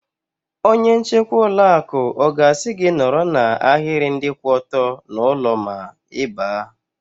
Onye nchekwa ụlọ akụ ọ ga-asị gị nọrọ n'ahiri ndị kwụ ọtọ n'ụlọ ma Ị baa?